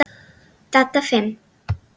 Dadda fimm.